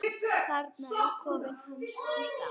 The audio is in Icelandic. Þarna er kofinn hans Gústa.